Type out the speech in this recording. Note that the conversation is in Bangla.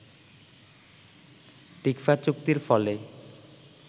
টিকফা চুক্তির ফলে